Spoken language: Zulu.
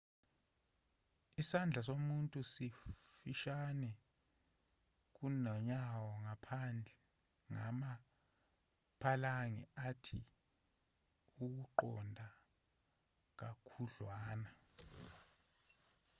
isandla somuntu sifushane kunonyawo ngama-phalange athe ukuqonda kakhudlwana